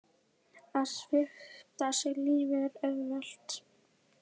Að svipta sig lífi er auðvelt.